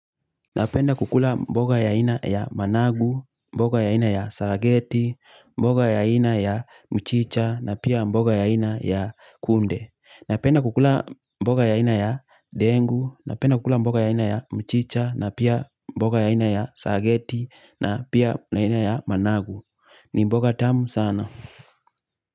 Napenda kukula mboga ya aina ya managu mboga ya aina ya sarageti mboga ya aina ya mchicha na pia mboga ya aina ya kunde napenda kukula mboga ya ina ya dengu, napenda kukula mboga ya ina ya mchicha na pia mboga ya ina ya sarageti na pia mboga ya ina ya managu ni mboga tamu sana.